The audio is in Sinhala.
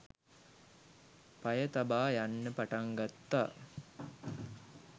පය තබා යන්න පටන්ගත්තා